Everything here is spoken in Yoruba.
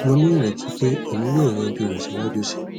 mo ni ireti pe emi yoo yanju rẹ siwaju sii